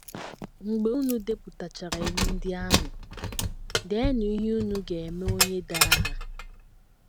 Mgbe unu depụtachara iwu ndị ahụ, deenụ ihe unu ga - eme onye dara ha.